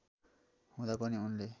हुँदा पनि उनले